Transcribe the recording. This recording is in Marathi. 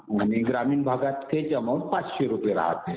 आणि ग्रामीण भागात हेच अमाऊंट पाचशे रुपये राहते.